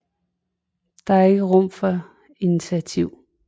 Det er ikke rum for initiativ